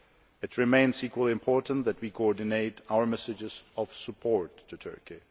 It remains equally important that we coordinate our messages of support to Turkey.